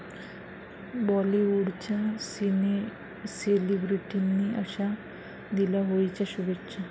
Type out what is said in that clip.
बॉलिवुडच्या सेलिब्रिटींनी 'अशा' दिल्या होळीच्या शुभेच्छा